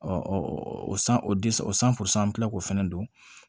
o san o o an bɛ tila k'o fana don